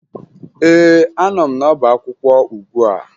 Ee, anọ m n'ọbaakwụkwọ ugbua